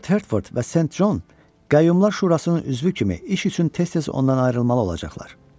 Lord Hertford və Saint John qayyumlar şurasının üzvü kimi iş üçün tez-tez ondan ayrılmalı olacaqlar.